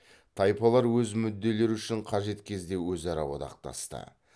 тайпалар өз мүдделері үшін қажет кезде өзара одақтасты